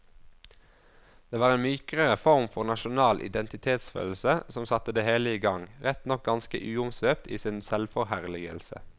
Det var en mykere form for nasjonal identitetsfølelse som satte det hele i gang, rett nok ganske uomsvøpt i sin selvforherligelse.